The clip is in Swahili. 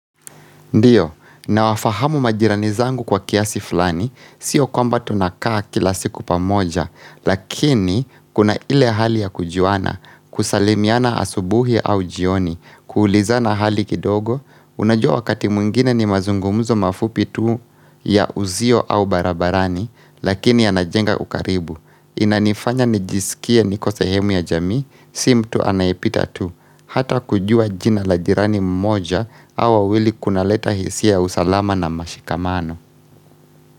Ndio, na wafahamu majirani zangu kwa kiasi fulani, sio kwamba tunakaa kila siku pamoja, lakini kuna ile hali ya kujuana, kusalimiana asubuhi au jioni, kuulizana hali kidogo, unajua wakati mwingine ni mazungumuzo mafupi tuu ya uzio au barabarani, lakini anajenga ukaribu. Inanifanya nijisikie niko sehemu ya jamii, si mtu anaipita tu Hata kujua jina la jirani mmoja, au wawili kunaleta hisia ya usalama na mashikamano.